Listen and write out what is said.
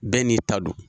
Bɛɛ n'i ta don